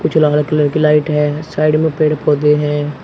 उजला हरा कलर की लाइट है साइड में पेड़ पौधे हैं।